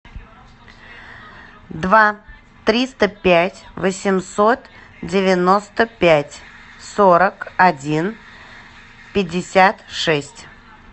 два триста пять восемьсот девяносто пять сорок один пятьдесят шесть